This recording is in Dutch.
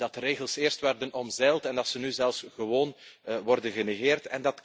Dat de regels eerst werden omzeild en dat ze nu zelfs gewoon worden genegeerd.